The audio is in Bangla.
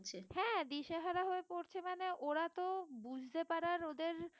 হ্যাঁ দিশেহারা হয়ে পড়ছে মানে ওরা তো বুঝতে পারার ওদের